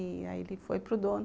E aí ele foi para o dono